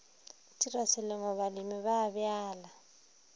tirwa selemo balemi ba bjala